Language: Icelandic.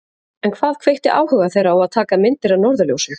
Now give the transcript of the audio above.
En hvað kveikti áhuga þeirra á að taka myndir af norðurljósum?